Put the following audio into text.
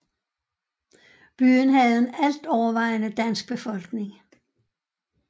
Byen havde en altovervejende dansk befolkning